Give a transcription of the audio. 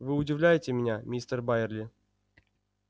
вы удивляете меня мистер байерли